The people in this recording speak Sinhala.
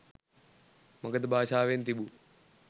මගධ භාෂාවෙන් තිබූ